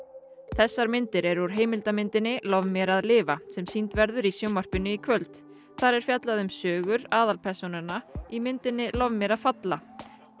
þessar myndir eru úr heimildarmyndinni lof mér að lifa sem sýnd verður í sjónvarpinu í kvöld þar er fjallað um sögur aðalpersónanna í myndinni lof mér að falla